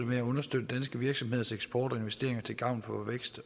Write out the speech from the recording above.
med at understøtte danske virksomheders eksport og investeringer til gavn for vækst